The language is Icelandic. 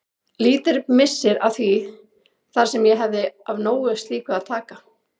Lítill missir að því þar sem ég hefði af nógu slíku að taka.